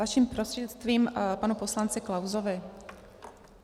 Vaším prostřednictvím panu poslanci Klausovi.